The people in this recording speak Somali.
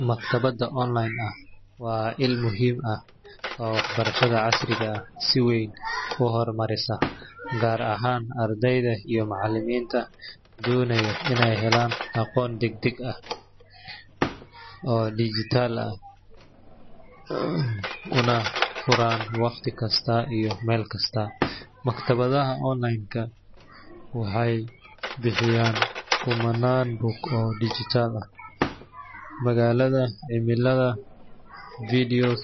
Maktabadda online ah waa il muhiim ah oo waxbarashada casriga ah si weyn u horumarisa, gaar ahaan ardayda iyo macallimiinta doonaya inay helaan aqoon degdeg ah, tayo leh, una furan waqti kasta iyo meel kasta. Maktabadaha online waxay bixiyaan kumanaan buug oo dhijitaal ah, maqaalada cilmiyeed, videos,